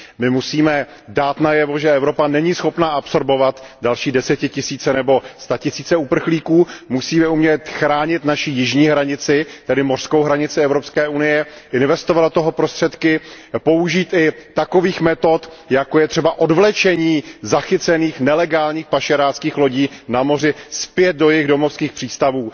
My musíme dát najevo, že Evropa není schopna absorbovat další desetitisíce nebo statisíce uprchlíků, musíme umět chránit naši jižní hranici, tedy mořskou hranici EU, investovat do toho prostředky, použít i takových metod, jako je třeba odvlečení zachycených nelegálních pašeráckých lodí na moři zpět do jejich domovských přístavů.